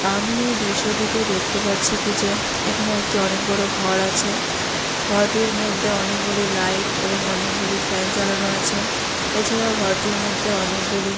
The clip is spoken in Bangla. আমি এ দৃশ্যটিতে দেখতে পাচ্ছি কি যে এখানে একটি অনেক বড়ো ঘর আছে | ঘরটির মধ্যে অনেকগুলি লাইট এবং অনেকগুলি ফ্যান চালানো আছে | এছাড়া ও ঘরটির মধ্যে অনেকগুলি--